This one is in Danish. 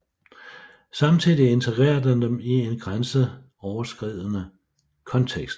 Samtidig integrerer den dem i en grænseoverskridende kontekst